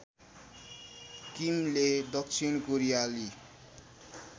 किमले दक्षिण कोरियाली